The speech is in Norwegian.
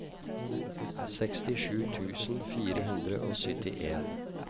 sekstisju tusen fire hundre og syttien